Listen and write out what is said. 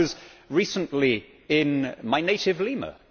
I was recently in my native Lima.